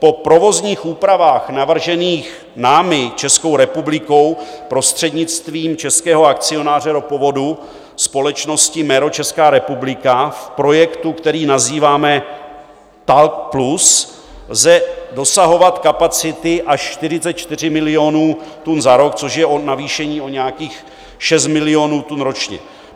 Po provozních úpravách navržených námi, Českou republikou, prostřednictvím českého akcionáře ropovodu, společností MERO Česká republika, v projektu, který nazýváme TAL+, lze dosahovat kapacity až 44 milionů tun za rok, což je navýšení o nějakých 6 milionů tun ročně.